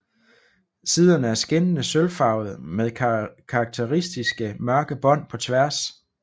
Siderne er skinnede sølvfarvede med karakteristiske mørke bånd på tværs